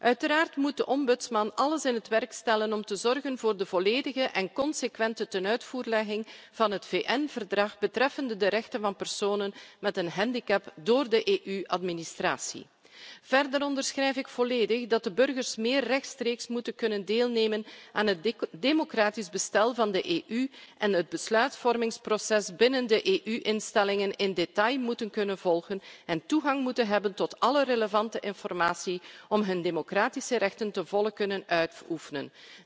Uiteraard moet de Ombudsman alles in het werk stellen om te zorgen voor de volledige en consequente tenuitvoerlegging van het VN Verdrag betreffende de rechten van personen met een handicap door de EU administratie. Verder onderschrijf ik volledig dat de burgers meer rechtstreeks moeten kunnen deelnemen aan het democratisch bestel van de EU, het besluitvormingsproces binnen de EU instellingen in detail moeten kunnen volgen en toegang moeten hebben tot alle relevante informatie om hun democratische rechten ten volle te kunnen uitoefenen.